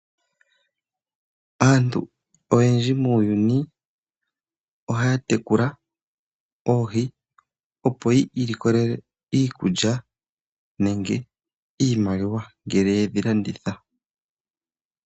Aantu oyendji muuyuni ohaya tekula oohi, opo yi ilikolele iikulya nenge iimaliwa ngele ye dhi landitha.